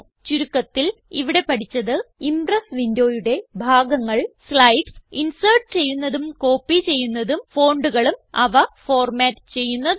ചുരുക്കത്തിൽ ഇവിടെ പഠിച്ചത് ഇംപ്രസ് വിൻഡോയുടെ ഭാഗങ്ങൾ സ്ലൈഡ്സ് ഇൻസെർട്ട് ചെയ്യുന്നതും കോപ്പി ചെയ്യുന്നതും fontകളും അവ ഫോർമാറ്റ് ചെയ്യുന്നതും